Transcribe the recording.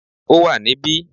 Ó wà ní bí